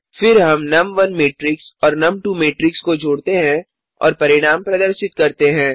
फिर हम नुम1 मैट्रिक्स और नुम2 मैट्रिक्स को जोडते हैं और परिणाम प्रदर्शित करते हैं